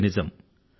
ఇది నిజం